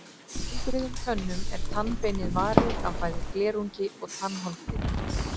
Í heilbrigðum tönnum er tannbeinið varið af bæði glerungi og tannholdi.